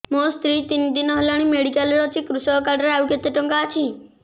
ମୋ ସ୍ତ୍ରୀ ତିନି ଦିନ ହେଲାଣି ମେଡିକାଲ ରେ ଅଛି କୃଷକ କାର୍ଡ ରେ ଆଉ କେତେ ଟଙ୍କା ଅଛି